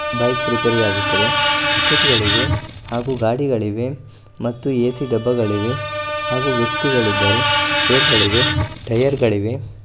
Bike repair ಆಗುತ್ತದೆ bucket ಗಳಿವೆ ಹಾಗೂ ಗಾಡಿಗಳಿವೆ ಮತ್ತು ಎ.ಸಿ ಡಬ್ಬಗಳಿವೆ ಹಾಗೂ ವ್ಯಕ್ತಿಗಳಿದ್ದಾರೆ ಚೇರ್ ಗಳಿಗೆ ಟೈಯರ್ ಗಳಿವೆ.